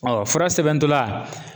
fura sɛbɛn dɔ la